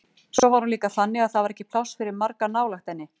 Svo var hún líka þannig að það var ekki pláss fyrir marga nálægt henni.